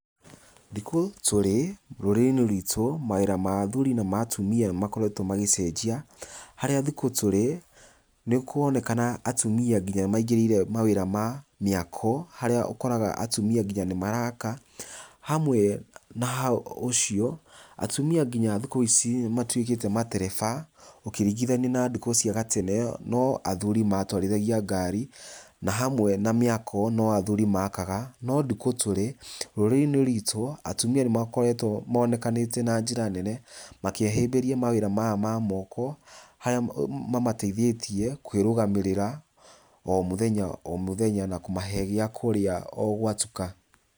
Thikũ tũrĩ rũrĩrĩ - inĩ rwitũ mawĩra ma athuri na ma atumia nĩ makoretwo ma gĩcenjia, harĩa thikũ tũrĩ, nĩ kũronekana atumia ngina nĩ maingĩrĩire mawĩra ma mĩako, harĩa ũkoraga atumia ngina nĩ maraka, hamwe na hau ũcio atumia ngina thikũ ici nĩ matwĩkĩte matereba, ukĩringithania na ndukũ cia gatene, no athuri matwarithagia ngari, na hamwe na mĩako, no athuri makaga, no ndukũ tũrĩ, rũrĩrĩ - inĩ rwitũ atumia nĩ makoretwo monekanĩte na njĩra nene, makĩhĩmbĩria mawĩra maya ma moko, harĩa ma mateithĩtie kwĩrũgamĩrĩra o mothenya o mothenya na kũmahe gĩakũrĩa o gwatuka.